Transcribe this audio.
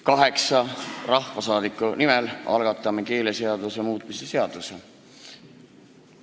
Kaheksa rahvasaadikut algatavad keeleseaduse muutmise seaduse eelnõu.